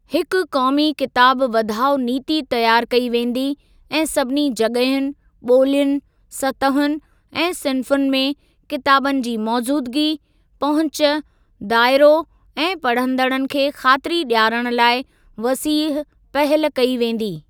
हिक क़ौमी किताब वधाउ नीति तयारु कई वेंदी ऐं सभिनी जग॒हियुनि, ॿोलियुनि, सतहुनि ऐं सिन्फुनि में किताबनि जी मौज़ूदगी, पहुच, दायरो ऐं पढ़ंदड़नि खे ख़ातिरी ॾियारण लाइ वसीह पहल कई वेंदी।